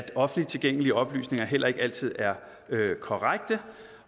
offentligt tilgængelige oplysninger heller ikke altid er korrekte